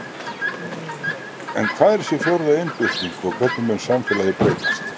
En hvað er þessi fjórða iðnbylting og hvernig mun samfélagið breytast?